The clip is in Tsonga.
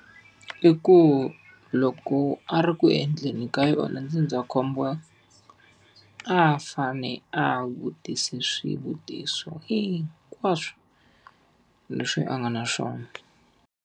I ku loko a ri ku endleni ka yona ndzindzakhombo, a fanele a vutise swivutiso hinkwaswo leswi a nga na swona.